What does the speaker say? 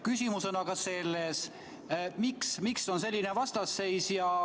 Küsimus on aga selles, miks on selline vastasseis.